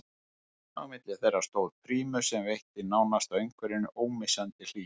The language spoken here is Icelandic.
Á milli þeirra stóð prímus sem veitti nánasta umhverfi ómissandi hlýju.